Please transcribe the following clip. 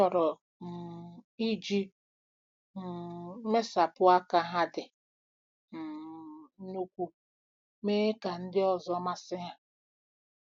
Ha chọrọ um iji um mmesapụ aka ha dị um ukwuu mee ka ndị ọzọ masị ha.